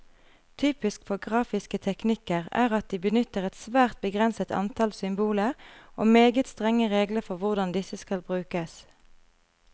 Typisk for grafiske teknikker er at de benytter et svært begrenset antall symboler, og meget strenge regler for hvordan disse skal brukes.